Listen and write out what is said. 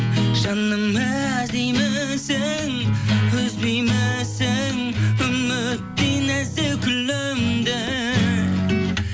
жаным іздеймісің үзбеймісің үміттей нәзік гүліңді